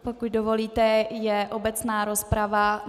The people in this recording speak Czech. Pokud dovolíte, je obecná rozprava.